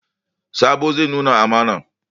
Sabo zai nuna amana.